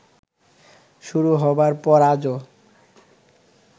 শুরু হবার পর আজও